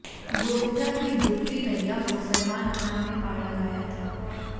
गोविंदा की डुबती नईया को सलमान खान ने पार लगाया था